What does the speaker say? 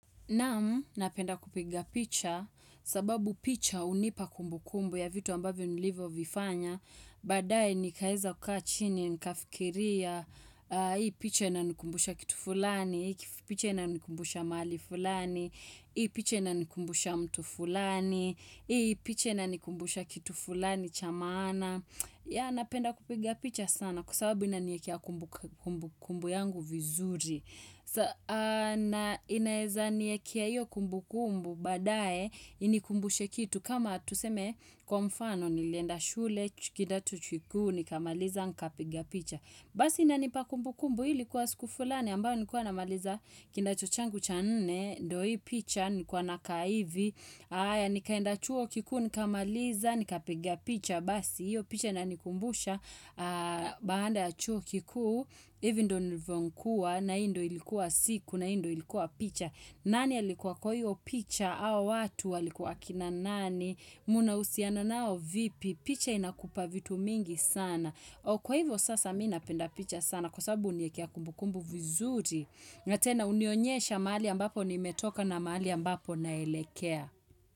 Naam, napenda kupiga picha, sababu picha unipa kumbukumbu ya vitu ambavyo nilivyovifanya, badaae nikaeza kukaa chini, nikafikiria, hii picha ina nikumbusha kitu fulani, hii picha ina nikumbusha mahali fulani, hii picha ina nikumbusha mtu fulani, hii picha ina nikumbusha kitu fulani cha maana. Ya napenda kupiga picha sana kwa sababu inaniekea kumbukumbu yangu vizuri. So na inaeza niekea iyo kumbukumbu badae inikumbushe kitu kama tuseme kwa mfano nilienda shule kidato chuo kikuu nikamaliza nikapiga picha. Basi inanipa kumbukumbu hii ilikua siku fulani ambayo nilikuwa namaliza kidato changu cha nne ndio hii picha nilikuwa nakaa hivi. Aya, nikaenda chuo kikuu, nikamaliza, nikapiga picha, basi, hiyo picha inanikumbusha, baada ya chuo kikuu, hivi ndo nilivyokua, na ii ndo ilikuwa siku, na ii ndo ilikuwa picha, nani alikuwa kwa hiyo picha, au watu walikuwa akina nani, mnahusiana nao vipi, picha inakupa vitu mingi sana. O kwa hivyo sasa mi napenda picha sana kwa sababu huniekea kumbukumbu vizuri. Na tena hunionyesha mahali ambapo nimetoka na mahali ambapo naelekea.